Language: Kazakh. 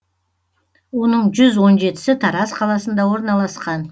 оның жүз он жетісі тараз қаласында орналасқан